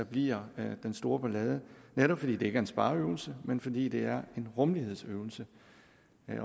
bliver den store ballade netop fordi det ikke er en spareøvelse men fordi det er en rummelighedsøvelse